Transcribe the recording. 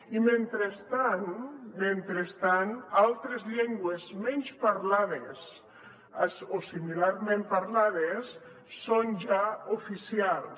i mentrestant mentrestant altres llengües menys parlades o similarment parlades són ja oficials